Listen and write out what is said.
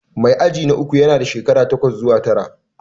Mai aji na uku yana da shekara takwas zuwa tara